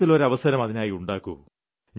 വർഷത്തിൽ ഒരു അവസരം അതിനായി ഉണ്ടാക്കൂ